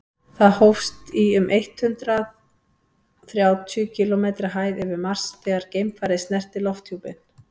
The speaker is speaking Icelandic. það hófst í um eitt hundruð þrjátíu kílómetri hæð yfir mars þegar geimfarið snerti lofthjúpinn